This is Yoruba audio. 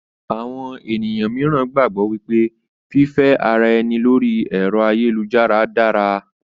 Àwọn ènìyàn míìràn gbàgbọ́ wípé fífe ara ẹni lóri ẹ̀rọ́ ayélujára dára